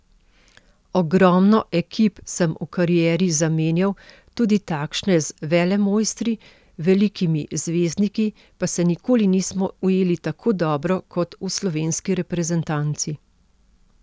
Ogromno ekip sem v karieri zamenjal, tudi takšne z velemojstri, velikimi zvezdniki, pa se nikoli nismo ujeli tako dobro kot v slovenski reprezentanci.